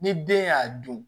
Ni den y'a dun